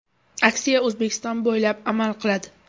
Aksiya O‘zbekiston bo‘ylab amal qiladi.